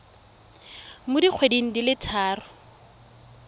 mo dikgweding di le tharo